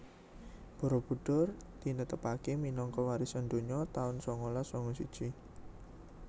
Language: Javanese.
Barabudhur tinetepake minangka warisan donya taun sangalas sanga siji